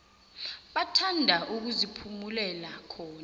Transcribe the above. bathanda ukuziphumulela khona